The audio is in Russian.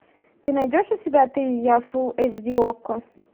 ты найдешь у себя ты и я фул эйч ди окко